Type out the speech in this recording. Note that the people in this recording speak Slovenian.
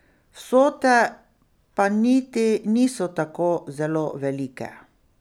Vsote pa niti niso tako zelo velike.